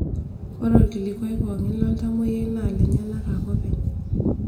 Ore olkilikua pookin loltamoyiai naa lenyanak ake openy.